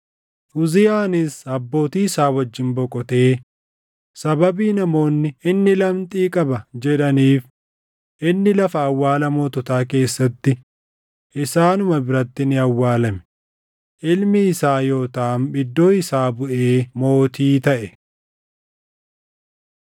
Uziyaanis abbootii isaa wajjin boqotee sababii namoonni, “Inni lamxii qaba” jedhaniif inni lafa awwaala moototaa keessatti isaanuma biratti ni awwaalame. Ilmi isaa Yootaam iddoo isaa buʼee mootii taʼe.